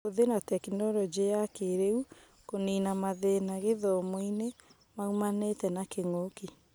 Kũhũthĩra tekinoronjĩ ya kĩĩrĩu kũnina mathĩna gĩthomo-inĩ maumanĩte na kĩng'ũki